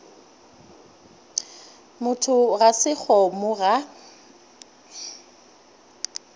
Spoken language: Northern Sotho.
motho ga se kgomo ga